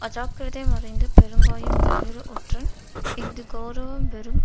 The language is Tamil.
அஜாக்கிரதை மறைந்து பெருங்காயம் ஞாயிறு ஒற்றன் இஃது கெளரவம் வெறும்